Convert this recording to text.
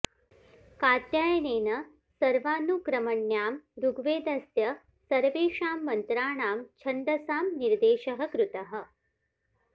कात्यायनेन सर्वानुक्रमण्याम् ऋग्वेदस्य सर्वेषां मन्त्राणां छन्दसां निर्देशः कृतः